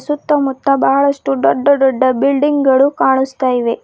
ಸುತ್ತಮುತ್ತ ಬಹಳಷ್ಟು ಡೊಡ್ಡ ಡೊಡ್ಡ ಬಿಲ್ಡಿಂಗ್ ಗಳು ಕಾಣಸ್ತಾಯಿವೆ.